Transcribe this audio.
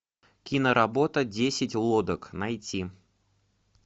киноработа десять лодок найти